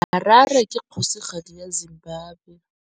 Harare ke kgosigadi ya Zimbabwe.